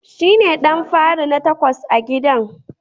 Shine ɗan fari na takwas a gidan..